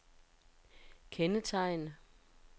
kendetegn